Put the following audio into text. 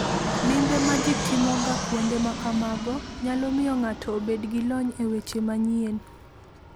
Limbe ma ji timoga kuonde ma kamago nyalo miyo ng'ato obed gi lony e weche manyien.